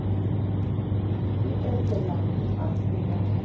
e etelang masea a sa